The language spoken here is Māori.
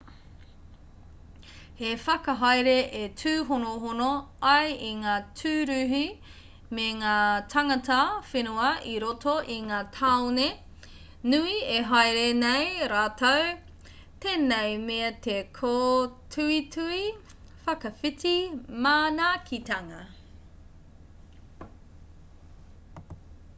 he whakahaere e tūhonohono ai i ngā tūruhi me ngā tāngata whenua i roto i ngā tāone nui e haere nei rātou tēnei mea te kōtuitui whakawhiti manaakitanga